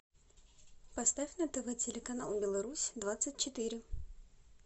поставь на тв телеканал беларусь двадцать четыре